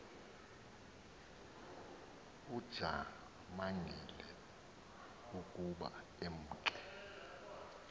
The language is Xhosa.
ujamangile ukuba emke